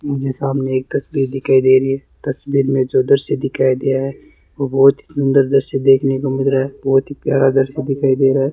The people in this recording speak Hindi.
मुझे सामने एक तस्वीर दिखाई दे रही है तस्वीर में जो दृश्य दिखाई दे रहा है वो बहुत सुंदर दृश्य देखने को मिल रहा है बहुत ही प्यारा दृश्य दिखाई दे रहा है।